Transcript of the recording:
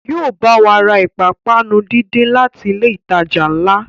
Yóò bá wa ra ìpápánu díndín láti ilé ìtajà ńlá